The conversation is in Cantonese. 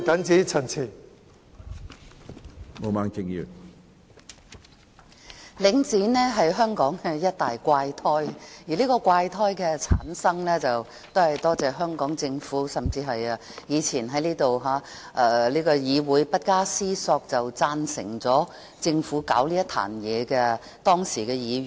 主席，領展是香港的一大怪胎，而這個怪胎的產生，要歸功於香港政府，甚至是當時在立法會不加思索便贊成政府搞這個爛攤子的議員。